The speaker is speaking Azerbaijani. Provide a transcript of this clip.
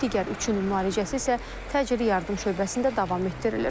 Digər üçün müalicəsi isə təcili yardım şöbəsində davam etdirilir.